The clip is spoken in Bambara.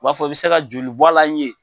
o b'a fɔ i bɛ se ka joli bɔ a la n ye ?